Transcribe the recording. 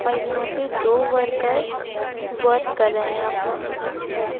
और यहां पे दो वर्कर वर्क कर रहे हैं अपना--